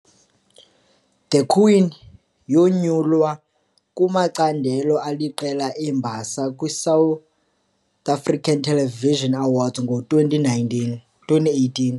"The Queen" yonyulwa kumacandelo aliqela embasa kwi South African Television Awards ngo-2019 2018.